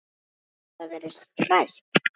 Hefur það verið rætt?